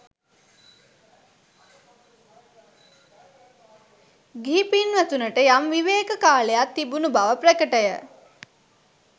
ගිහි පින්වතුනට යම් විවේක කාලයක් තිබුණු බව ප්‍රකටය.